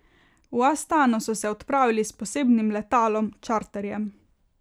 V Astano so se odpravili s posebnim letalom, čarterjem.